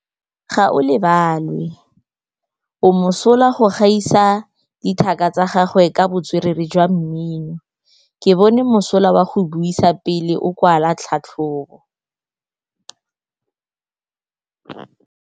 Gaolebalwe o mosola go gaisa dithaka tsa gagwe ka botswerere jwa mmino. Ke bone mosola wa go buisa pele o kwala tlhatlhobô.